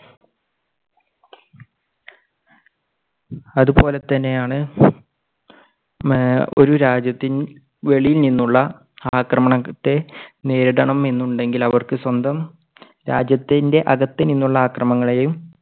അതുപോലെ തന്നെയാണ് മ്~ഒരു രാജ്യത്തിൻറെ വെളിയിൽ നിന്നുള്ള ആക്രമണത്തെ നേരിടണം എന്നുണ്ടെങ്കിൽ അവർക്ക് സ്വന്തം രാജ്യത്തിൻറെ അകത്തുനിന്നുള്ള ആക്രമണങ്ങളെയും